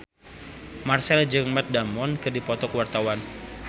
Marchell jeung Matt Damon keur dipoto ku wartawan